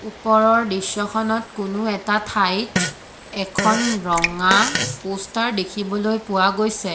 ওপৰৰ দৃশ্যখনত কোনো এটা ঠাইত এখন ৰঙা প'ষ্টাৰ দেখিবলৈ পোৱা গৈছে।